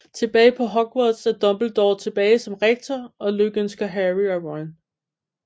Tilbage på Hogwarts er Dumbledore tilbage som Rektor og lykønsker Harry og Ron